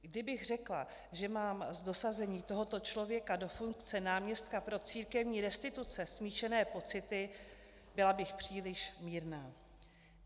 Kdybych řekla, že mám s dosazením tohoto člověka do funkce náměstka pro církevní restituce smíšené pocity, byla bych příliš mírná.